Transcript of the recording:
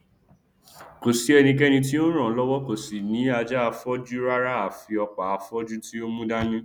kòsí ẹnikẹni tí ó nràn án lọwọ kò sì ní ajáafọjú rárá àfi ọpáafọjú tí o mú dání